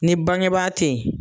Ni bangebaa tɛ yen.